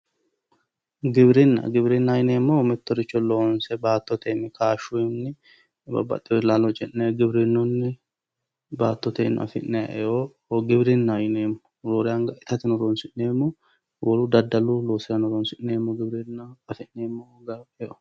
Giwirinna, giwirinnaho yineemmohu mittoricho loonse baattotenni, kashunni babbaxewore la'lo ce'ne giwirinunni baattoteno affi'nanni eo giwirinaho yineemmo, roore anga itateno eo afirateno horonsi'neemmo giwirinna.